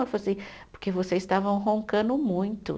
Ela falou assim, porque vocês estavam roncando muito.